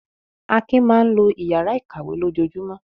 Akin máa ń lo ìyàrá-ìkàwé lójoojúmọ́.